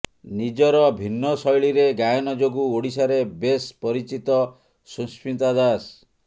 ନିଜର ଭିନ୍ନ ଶୈଳୀରେ ଗାୟନ ଯୋଗୁଁ ଓଡିଶାରେ ବେଶ୍ ପରିଚିତ ସୁସ୍ମିତା ଦାସ